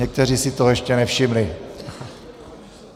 Někteří si toho ještě nevšimli.